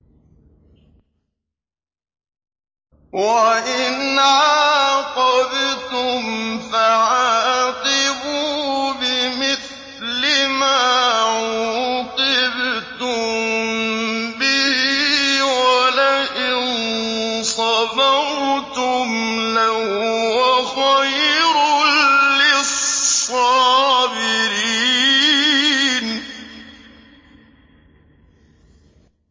وَإِنْ عَاقَبْتُمْ فَعَاقِبُوا بِمِثْلِ مَا عُوقِبْتُم بِهِ ۖ وَلَئِن صَبَرْتُمْ لَهُوَ خَيْرٌ لِّلصَّابِرِينَ